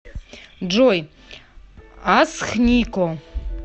джой асхнико